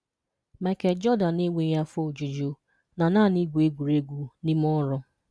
Michael Jordan enweghị afọ ojuju na naanị igwu egwuregwu na ime ọrụ.